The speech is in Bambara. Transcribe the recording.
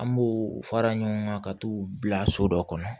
An b'o fara ɲɔgɔn kan ka t'u bila so dɔ kɔnɔ